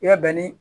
I ka bɛn ni